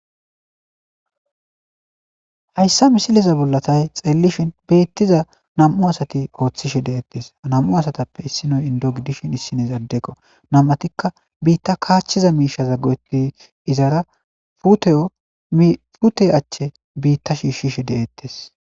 Hayssa misileza bollatay xeellishin beettiza nam7u asati ooththishe de7ettes nam7u asatappe issinoy indo gidishin issinezadeko nam7atikka biitta kaachchiza miishaza goti izara pute achche biitta shiishshishe de'ettes.